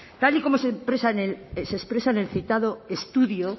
tal y como se expresa en el citado estudio